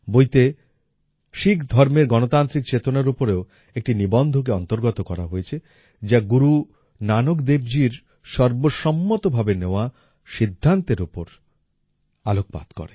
বইতে শিখ ধর্মের গণতান্ত্রিক চেতনার উপরেও একটি নিবন্ধকে অন্তর্গত করা হয়েছে যা গুরু নানক দেব জির সর্বসম্মত ভাবে নেওয়া সিদ্ধান্তের উপর আলোকপাত করে